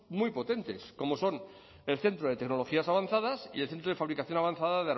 muy potentes como son el centro de tecnologías avanzadas y el centro de fabricación avanzada